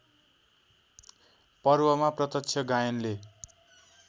पर्वमा प्रत्यक्ष गायनले